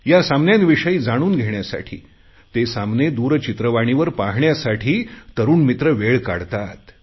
या सामन्यांविषयी जाणून घेण्यासाठी ते सामने दूरचित्रवाणीवर पाहण्यासाठी तरुण मित्र वेळ काढतात